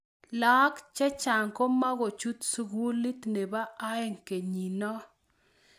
laak chechang komokuchut sukulit nebo oeng kenyiinoo